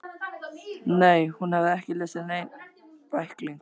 Nei, hún hafði ekki lesið neinn bækling.